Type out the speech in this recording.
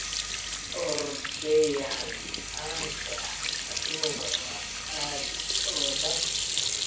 Orodyahan caan ka ah aduunka oo dhan.